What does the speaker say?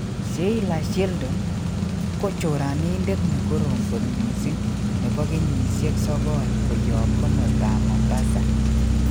Sheila Sheldon:ko choranindet nekorom kot missing nepo kenyisiek 9 koyop komostap mombasa.